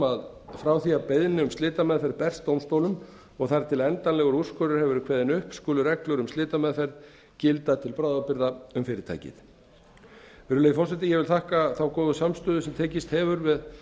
að frá því að beiðni um slitameðferð berst dómstólum og þar til endanlegur úrskurður hefur verið kveðinn upp skulu reglur um slitameðferð gilda til bráðabirgða um fyrirtækið virðulegi forseti ég þakka þá góðu samstöðu sem tekist hefur